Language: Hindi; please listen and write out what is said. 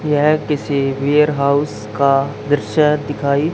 यह किसी वेयरहाउस का दृश्य दिखाई--